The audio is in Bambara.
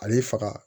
Ale faga